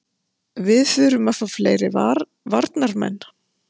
Við þurfum að fá fleiri varnarmenn.